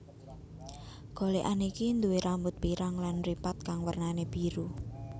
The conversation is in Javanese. Golékan iki nduwé rambut pirang lan mripat kang wernané biru